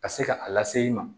Ka se ka a lase i ma